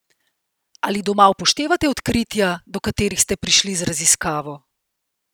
Ali doma upoštevate odkritja, do katerih ste prišli z raziskavo?